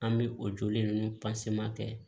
An bɛ o joli ninnu kɛ